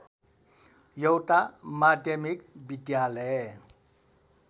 एउटा माध्यमिक विद्यालय